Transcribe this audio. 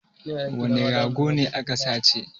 Wane rago ne aka sace?